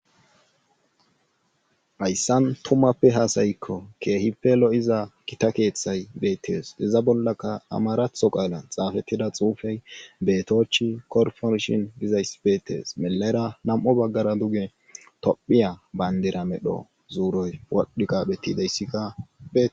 Hayssan tumappe haasayikko keehippe lo7iza kita keeththay beettes iza bollaka amaratho qaala xaafettida xuufey betochi korfonshin gizayss beetes milera nam7o baggara duge tophiya bayndira medho zuuroy wadhi qaphetideyssika.